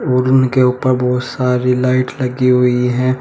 और उनके ऊपर बोहत सारी लाइट लगी हुई हैं।